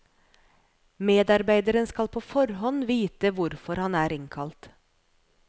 Medarbeideren skal på forhånd vite hvorfor han er innkalt.